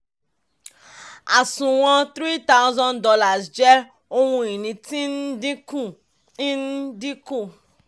àsùnwọ̀n three thousand dollars jẹ́ ohun ìní tí ń dínkù ń ń dínkù.